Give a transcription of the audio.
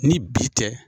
Ni bi tɛ